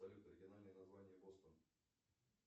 салют оригинальное название бостон